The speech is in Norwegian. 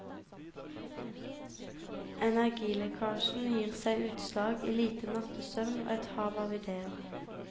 Energilekkasjen gir seg utslag i lite nattesøvn og et hav av idéer.